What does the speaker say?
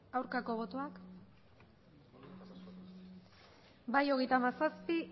aurkako botoak bai hogeita hamazazpi